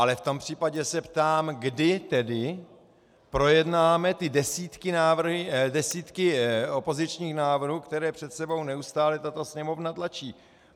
Ale v tom případě se ptám, kdy tedy projednáme ty desítky opozičních návrhů, které před sebou neustále tato Sněmovna tlačí.